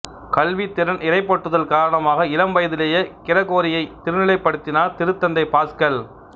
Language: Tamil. கல்வித்திறன் இறைப்பற்றுதல் காரணமாக இளம் வயதிலேயே கிரகோரியை திருநிலைப்படுத்தினார் திருத்தந்தை பாஸ்கல்